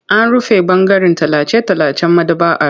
An rufe ɓangaren tallace-tallacen maɗaba'ar.